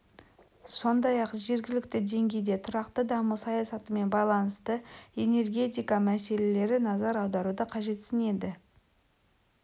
сондай-ақ жергілікті деңгейде тұрақты даму саясатымен байланысты энергетика мәселері назар аударуды қажетсінеді